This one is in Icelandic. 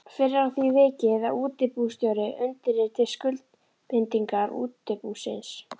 Fyrr er að því vikið að útibússtjóri undirriti skuldbindingar útibúsins.